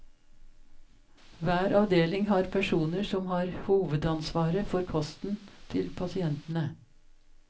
Hver avdeling har personer som har hovedansvaret for kosten til pasientene.